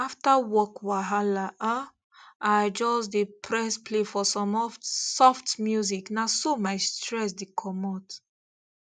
after work wahala um i just dey press play for some oft soft music na so my stress the comot